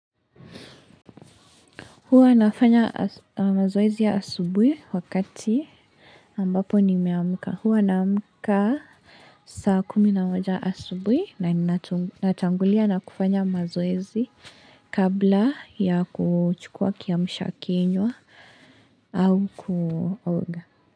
Huwaa nafanya mazoezi ya asubuhi wakati ambapo nimeamka. Huwa naamka saa kumi na moja asubuhi na ninatu natangulia na kufanya mazoezi kabla ya kuchukua kiamsha kinywa au kuoga.